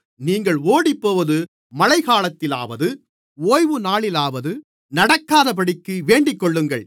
நீங்கள் ஓடிப்போவது மழைக் காலத்திலாவது ஓய்வுநாளிலாவது நடக்காதபடிக்கு வேண்டிக்கொள்ளுங்கள்